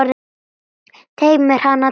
Teymir hana til hliðar.